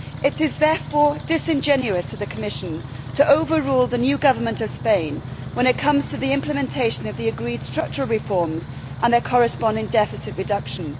It is therefore disingenuous of the Commission to overrule the new Government of Spain when it comes to the implementation of the agreed structural reforms and their corresponding deficit reduction.